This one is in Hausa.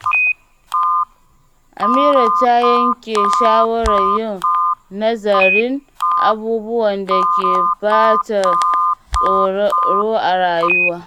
Amira ta yanke shawarar yin nazarin abubuwan da ke ba ta tsoro a rayuwa.